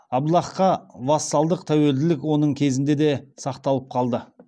абдаллахқа вассалдық тәуелділік оның кезінде де сақталып қалды